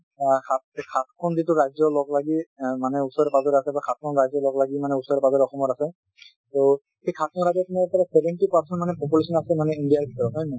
অ সাত সাতখন যিটো ৰাজ্য লগ লাগি অ মানে ওচৰে পাজৰে আছে বা সাতখন ৰাজ্য লগ লাগি মানে ওচৰে পাজৰে অসমৰ আছে so সেই সাতখন ৰাজ্যত seventy percent মানে population মানে আছে india ৰ ভিতৰত হয় নে নহয়?